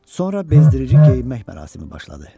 Sonra bezdirici geyinmək mərasimi başladı.